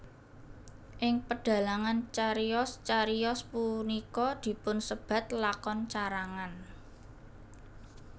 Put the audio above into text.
Ing pedhalangan cariyos cariyos punika dipunsebat lakon carangan